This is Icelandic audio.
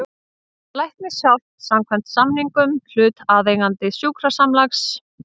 Læknishjálp samkvæmt samningum hlutaðeigandi sjúkrasamlags.